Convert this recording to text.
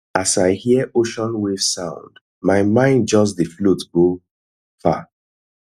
as i hear ocean wave sound my mind just dey float go far